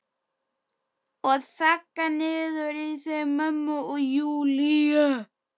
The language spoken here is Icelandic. Og þagga niður í þeim mömmu og Júlíu.